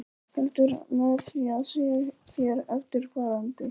Heldur með því að segja þér eftirfarandi